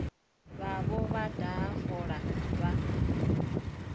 vhavho vha daha fola vha